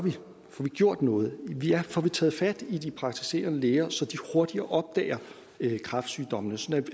får vi gjort noget får vi taget fat i de praktiserende læger så de hurtigere opdager kræftsygdommene sådan